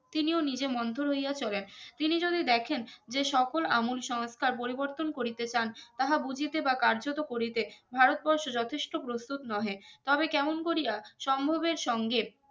তিনি ও নিজে মন্থর হইয়া চলেন তিনি যদি দেখেন যে সকল আমুল সংস্কার পরিবর্তন করিতে চান তাহা বুঝিতে বা কার্যত করিতে ভারতবর্ষ যথেষ্ট প্রস্তুত নহে তাবে কেমন করিয়া সম্ভব এর সঙ্গে